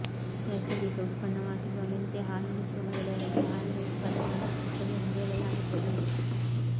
ನೈಸರ್ಗಿಕ ಉತ್ಪನ್ನವಾಗಿರುವ ಮೆಂತೆ ಹಾಲುಣಿಸುವ ಮಹಿಳೆಯರಲ್ಲಿ ಹಾಲಿನ ಉತ್ಪಾದನೆಯನ್ನು ಹೆಚ್ಚಿಸುತ್ತದೆ ಎಂದು ಹೇಳಲಾಗುತ್ತದೆ